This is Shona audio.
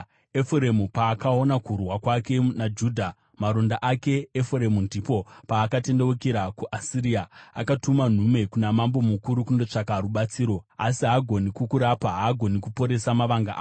“Efuremu paakaona kurwara kwake, naJudha maronda ake, Efuremu ndipo paakatendeukira kuAsiria, akatuma nhume kuna mambo mukuru kundotsvaka rubatsiro. Asi haagoni kukurapa, haagoni kuporesa mavanga ako.